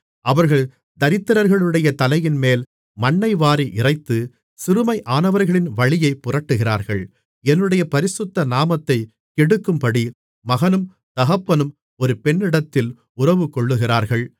அவர்கள் தரித்திரர்களுடைய தலையின்மேல் மண்ணைவாரி இறைத்து சிறுமையானவர்களின் வழியைப் புரட்டுகிறார்கள் என்னுடைய பரிசுத்த நாமத்தைக் கெடுக்கும்படி மகனும் தகப்பனும் ஒரு பெண்ணிடத்தில் உறவுகொள்ளுகிறார்கள்